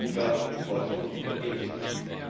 Wir wollen weniger Importe von Gentechnik.